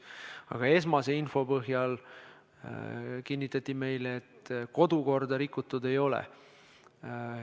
Aga esmase info põhjal kinnitati meile, et kodukorda rikutud ei ole.